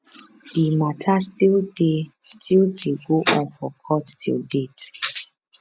di mata still dey still dey go on for court till date